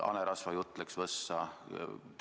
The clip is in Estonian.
Hanerasvajutt läks võssa.